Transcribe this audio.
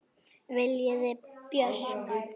Viljiði Björk?